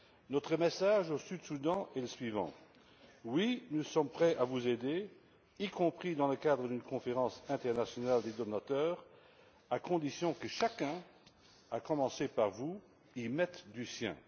Notre message au Soudan du Sud est le suivant oui, nous sommes prêts à vous aider, y compris dans le cadre d'une conférence internationale des donateurs, à condition que chacun, à commencer par vous, y mette du sien.